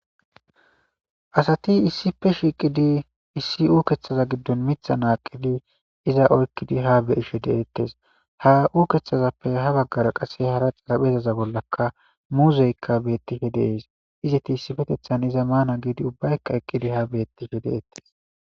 Asati issife shiiqidi issi uukeththaza giddon mitha aaqidi iza oykkidi ha beyishe deettes ha uukeththazappe ha baggara qasse hara xalaphezaza bollaka muuzeykka beettihe dees izeti issifetethan iza maana giidi ubbaykka eqqidi ha beettihe deettes